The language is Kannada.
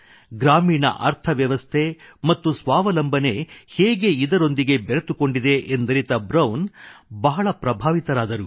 ಗ್ರಾಮೀಣ ಅರ್ಥವ್ಯವಸ್ಥೆ ಮತ್ತು ಸ್ವಾವಲಂಬನೆ ಹೇಗೆ ಇದರೊಂದಿಗೆ ಬೆರೆತುಕೊಂಡಿದೆ ಎಂದರಿತ ಬ್ರೌನ್ ಬಹಳ ಪ್ರಭಾವಿತರಾದರು